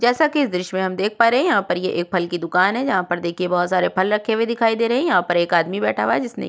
जैसा कि इस दृश्य में देख पा रहे हैं यहां पर एक फल की दुकान है यहां पर बहुत सारे फल रखे हुए दिखाई दे रहे हैं यहां पर एक आदमी बैठा हुआ है जिसने--